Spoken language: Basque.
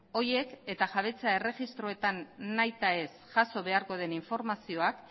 horiek eta jabetza erregistroetan nahitaez jaso beharko den informazioak